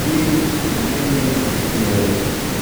Biik chemenye kityo